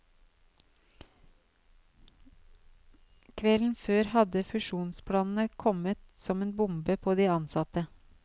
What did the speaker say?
Kvelden før hadde fusjonsplanene kommet som en bombe på de ansatte.